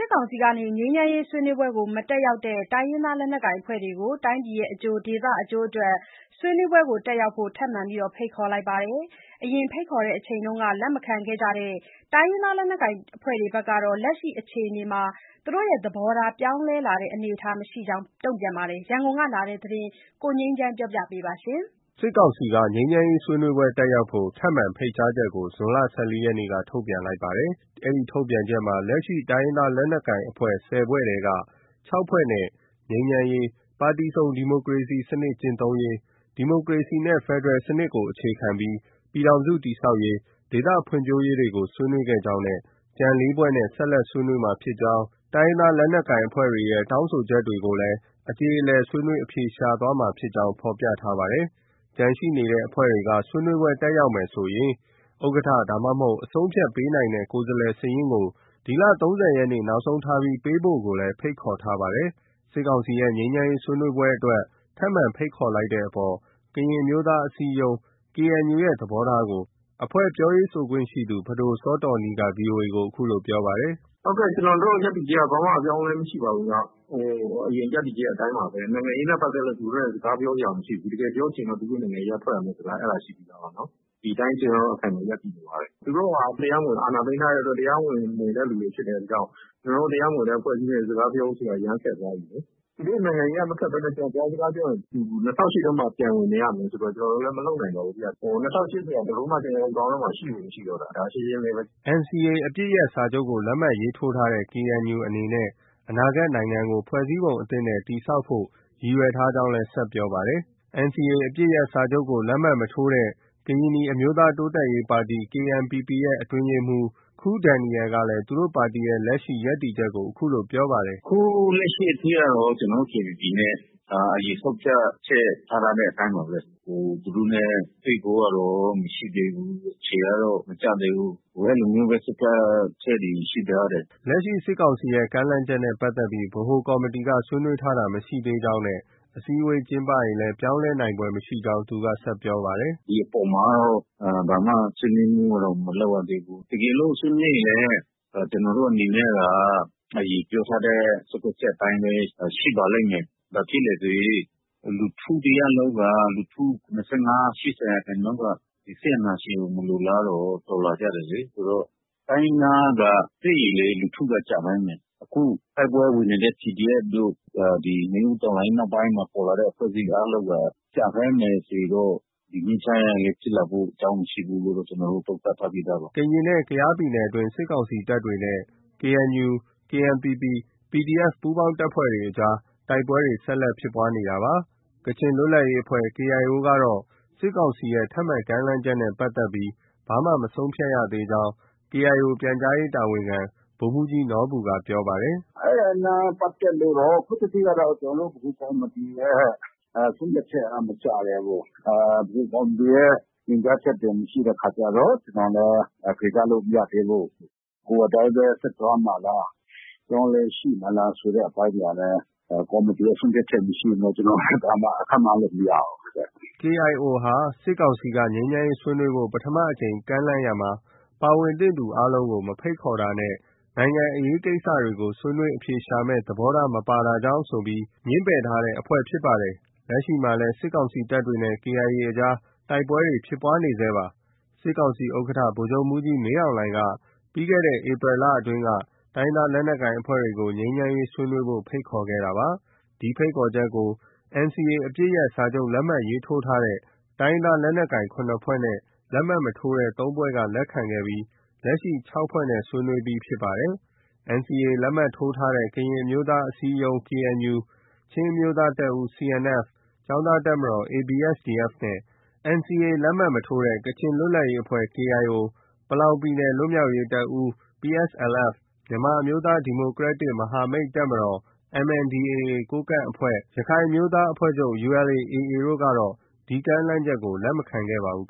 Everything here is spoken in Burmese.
စ်ကောင်စီက ငြိမ်းချမ်းရေးဆွေးနွေးပွဲကို မတက်ရောက်တဲ့ တိုင်းရင်းသားလက်နက်ကိုင်အဖွဲ့တွေကို တိုင်းပြည်အကျိုး၊ ဒေသအကျိုးအတွက် ဆွေးနွေးပွဲ တက်ရောက်ဖို့ ထပ်မံဖိတ်ခေါ်လိုက်ပါတယ်။ အရင်ဖိတ်ခေါ်စဉ်က လက်မခံခဲ့ကြတဲ့ တိုင်းရင်းသားလက်နက်ကိုင်အဖွဲ့တွေကတော့ လက်ရှိအခြေအနေမှာ သဘောထား ပြောင်းလဲလာတဲ့အနေအထားမရှိကြောင်း ပြောပါတယ်။ ရန်ကုန်ကလာတဲ့ သတင်းကို ကိုငြိမ်းချမ်းက တင်ပြပေးထားပါတယ်။ စစ်ကောင်စီက ငြိမ်းချမ်းရေးဆွေးနွေးပွဲ တက်ရောက်ဖို့ ထပ်မံ ဖိတ်ကြားချက်ကို ဇွန်လ ၁၄ရက်နေ့က ထုတ်ပြန်လိုက်တာပါ။ ဒီထုတ်ပြန်ချက်မှာ လက်ရှိ တိုင်းရင်းသားလက်နက်ကိုင်အဖွဲ့ ၁၀ ဖွဲ့အနက် ၆ ဖွဲ့နဲ့ ငြိမ်းချမ်းရေး၊ ပါတီစုံဒီမိုကရေစနစ်ကျင့်သုံးရေး၊ ဒီမိုကရေစီနဲ့ဖက်ဒရယ်စနစ်ကိုအခြေခံပြီး ပြည်ထောင်စုတည်ဆောက်ရေး၊ ဒေသဖွံ့ဖြိုးရေးကို ဆွေးနွေးခဲ့ကြောင်း၊ ကျန် ၄ ဖွဲ့နဲ့ ဆက်လက်ဆွေးနွေးမှာဖြစ်ကြောင်းနဲ့ တိုင်းရင်းသား လက်နက်ကိုင်အဖွဲ့တွေရဲ့ တောင်းဆိုချက်တွေက အကြေအလည် ဆွေးနွေးအဖြေရှာသွားမှာ ဖြစ်ကြောင်း ဖော်ပြထားပါတယ်။ ကျန်ရှိနေတဲ့အဖွဲ့တွေက ဆွေးနွေးပွဲ တက်ရောက်မယ်ဆိုရင် ဥက္ကဋ္ဌ ဒါမှမဟုတ် အဆုံးအဖြတ်ပေးနိုင်တဲ့ ကိုယ်စားလှယ်စားလှယ်စာရင်းကို ဒီလ ၃၀ ရက်နေ့ နောက်ဆုံးထားပေးပို့ဖို့လည်း ဖိတ်ခေါ်ထားပါတယ်။ စစ်ကောင်စီရဲ့ ငြိမ်းချမ်းရေးဆွေးနွေးပွဲအတွက် ထပ်မံဖိတ်ခေါ်လိုက်တဲ့အပေါ် ကရင်အမျိုးသားအစည်းအရုံး KNU ရဲ့ သဘောထားကို အဖွဲ့ပြောရေးဆိုခွင့်ရှိသူ ပဒိုစောတောနီးက VOA ကို အခုလို ပြောပါတယ်။ “ကျနော်တို့ ရပ်တည်ချက်က ဘာမှ အပြောင်းအလဲ မရှိပါဘူးနော်။ အရင် ရပ်တည်ချက်အတိုင်းပါပဲ။ နိုင်ငံရေးနဲ့ပတ်သက်လို့ သူတို့နဲ့ စကားပြောစရာမရှိဘူး။ တကယ်ပြောချင်ရင်တော့ သူတို့ နိုင်ငံရေးက ထွက်ရမယ်ဆိုတာ အဲဒါ ရှိပြီးသားပါနော်။ ဒီအတိုင်း ကျနော်တို့က အခိုင်အမာ ရပ်တည်နေပါတယ်။ သူတို့ဟာ တရားမဝင် အာဏာသိမ်းထားတဲ့အတွက် တရားမဝင်တဲ့သူတွေဖြစ်တဲ့အတွက်ကြောင့် ကျနော်တို့ တရားမဝင်တဲ့အဖွဲ့အစည်းနဲ့ စကားပြောဖို့ဆိုတာ အရမ်းခက်သွားပြီလေ။ သူတို့နိုင်ငံရေးက မထွက်ဘဲ ကျနောတို့ သွားစကားပြောရင် ၂၀၀၈ ထဲမှာ ပြန်ဝင်နေရမယ်ဆိုတော့ ကျနော်တို့လည်း မလုပ်နိုင်တော့ဘူးဗျ။ ၂၀၀၈ ဆိုတာ ကျနော်တို့ခေါင်းထဲမှာ ရှိကို မရှိတော့တာ ဒါ ရှင်းရှင်းလေးပဲ။” NCA အပစ်ရပ်စာချုပ်ကို လက်မှတ် ရေးထိုးထားတဲ့ KNU အနေနဲ့ အနာဂတ်နိုင်ငံကို ဖွဲ့စည်းပုံအသစ်နဲ့ တည်ဆောက်ဖို့ ရည်ရွယ်ထားကြောင်း ဆက်ပြောပါတယ်။ NCA အပစ်ရပ်စာချုပ်ကို လက်မှတ်မထိုးတဲ့ ကရင်နီအမျိုးသားတိုးတက်ရေးပါတီ KNPP ရဲ့ အတွင်းရေးမှူး ၁ ခူးဒယ်နီရယ်ကလည်း သူတို့ ပါတီရဲ့ လက်ရှိ ရပ်တည်ချက်ကို အခုလို ပြောပါတယ်။ “အခုလက်ရှိအထိကတော့ ကျနော်တို့ KNPP အနေနဲ့ အရင်ဆုံးဖြတ်ချက် ထား ထားတဲ့အတိုင်းပါပဲ။ သူတို့နဲ့ တွေ့ဖို့ကတော့မရှိသေးဘူး။ အချိန်ကတော့ မကျသေးဘူး။ အဲလိုမျိုးပဲ ဆုံးဖြတ်ချက်တွေ ရှိထားတယ်။ ” လက်ရှိ စစ်ကောင်စီရဲ့ ကမ်းလှမ်းချက်နဲ့ပတ်သက်ပြီး ဗဟိုကော်မတီက ဆွေးနွေးတာ မရှိသေးကြောင်းနဲ့ အစည်းအဝေးကျင်းပရင်လည်း ပြောင်းလဲဖွယ်မရှိနိုင်ကြောင်း သူက ဆက်ပြောပါတယ်။ “ဒီအပေါ်မှာတော့ ဘာမှ ဆွေးနွေးမှုကတော့ မလုပ်ရသေးဘူး။ တကယ်လို့ ဆွေးနွေးရင်လည်း ကျနော်တို့အနေနဲ့က အရင်ပြောထားတဲ့ ဆုံးဖြတ်ချက်အတိုင်းပဲ ရှိပါလိမ့်မယ်။ ဘာဖြစ်လဲဆိုရင် လူထုတရပ်လုံးက၊ လူထု ၇၅- ၈၀ ရာခိုင်နှုန်းက ဒီစစ်အာဏာရှင်ကို မလိုလားတော့ တော်လှန်ကြတယ်လေ။ တိုင်းရင်းသားက တွေ့ရင်လည်း လူထုက ကျန်ထားမယ်။ အခု တိုက်ပွဲဝင်နေတဲ့ PDF တို့၊ နွေဦးတော်လှန်ရေးနောက်ပိုင်းမှာ ပေါ်လာတဲ့အဖွဲ့အစည်းအားလုံးက ကျန်ခိုင်းမယ်ဆိုရင်တော့ ဒီငြိမ်းချမ်းရေးက ဖြစ်လာဖို့ အကြောင်းမရှိဘူးလို့တော့ ကျနောတို့ သုံးသပ်ထားပြီးသားပါ။” ကရင်နဲ့ ကယားပြည်နယ်အတွင်းမှာတော့ စစ်ကောင်စီတပ်တွေနဲ့ KNU ၊KNPP ၊PDF ပူးပေါင်းတပ်ဖွဲ့တွေ အကြားမှာ တိုက်ပွဲတွေ ဆက်လက် ဖြစ်ပွားနေဆဲရှိနေတာပါ။ ကချင်လွတ်လပ်ရေးအဖွဲ့ KIO ကတော့ စစ်ကောင်စီရဲ့ ထပ်မံကမ်းလှမ်းချက်နဲ့ပတ်သက်ပြီး ဘာမှ မဆုံးဖြတ်ရသေးကြောင်း KIO ပြန်ကြားရေးတာဝန်ခံ ဗိုလ်မှူးကြီးနော်ဘူက ပြောပါတယ်။ “အဲဒါနဲ့ပတ်သက်လို့တော့ ကျနော်တို့ ဗဟိုကော်မတီရဲ့ ဆုံးဖြတ်ချက်ကတော့ မကျသေးဘူး။ ဗဟိုကော်မတီရဲ့ ညွှန်ကြားချက်တွေ မရှိတဲ့အခါကျတော့ ကျနော်လည်း ဖြေကြားလို့ မရသေးဘူး။ နဂိုအတိုင်းပဲ ဆက်သွားမှာလား။ အပြောင်းအလဲရှိမလားဆိုတဲ့ အပိုင်းတွေကလည်း ကော်မတီရဲ့ ဆုံးဖြတ်ချက် မရှိရင်တော့ ကျနော်လည်း ဘယ်လိုမှ ခန့်မှန်းလို့ မရဘူး။ ” KIO ဟာ စစ်ကောင်စီက ငြိမ်းချမ်းရေးဆွေးနွေးဖို့ ပထမအကြိမ် ကမ်းလှမ်းရာမှာ ပါဝင်သင့်သူအားလုံးကို မဖိတ်ခေါ်တာနဲ့ နိုင်ငံအရေးကိစ္စတွေကို ဆွေးနွေးအဖြေရှာမယ့် သဘောထား မပါရှိတာကြောင့် ဆိုပြီး ငြင်းပယ်ထားတဲ့ အဖွဲ့ ဖြစ်ပါတယ်။ လက်ရှိမှာလည်း စစ်ကောင်စီတပ်တွေနဲ့ KIA အကြား တိုက်ပွဲတွေ ဖြစ်ပွားနေဆဲရှိနေပါတယ်။ စစ်ကောင်စီဥက္ကဋ္ဌ ဗိုလ်ချုပ်မှူးကြီးမင်းအောင်လှိုင်က ပြီးခဲ့တဲ့ ဧပြီလအတွင်းက တိုင်းရင်းသား လက်နက်ကိုင်အဖွဲ့တွေကို ငြိမ်းချမ်းရေးဆွေးနွေးဖို့ ဖိတ်ခေါ်ခဲ့တာပါ။ ဒီဖိတ်ခေါ်ချက်ကို NCA အပစ်ရပ်စာချုပ် လက်မှတ်ထိုးထားတဲ့ တိုင်းရင်းသားလက်နက်ကိုင် ၇ ဖွဲ့နဲ့ လက်မှတ်မထိုးတဲ့ ၃ ဖွဲ့က လက်ခံခဲ့ပြီး လက်ရှိ ၆ ဖွဲ့နဲ့ ဆွေးနွေးပြီး ဖြစ်ပါတယ်။ NCA လက်မှတ်ထိုးထားတဲ့ ကရင်အမျိုးသားအစည်းအရုံး KNU ၊ ချင်းအမျိုးသားတပ်ဦး CNF၊ ကျောင်းသား တပ်မတော် ABSDF နဲ့ NCA လက်မှတ် မထိုးတဲ့ ကချင်လွတ်လပ်ရေးအဖွဲ့ KIO၊ ပလောင် ပြည်နယ် လွတ်မြောက်ရေးတပ်ဦး PSLF ၊ မြန်မာအမျိုးသားဒီမိုကရက်တစ်မဟာမိတ်တပ်မတော် MNDAA ကိုးကန့်အဖွဲ့၊ ရခိုင်အမျိုးသားအဖွဲ့ချုပ် ULA/AA တို့ကတော့ လက်မခံခဲ့ပါဘူး